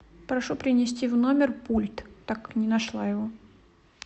прошу принести в номер пульт так как не нашла его